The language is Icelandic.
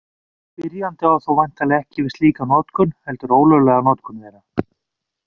Spyrjandi á þó væntanlega ekki við slíka notkun, heldur ólöglega notkun þeirra.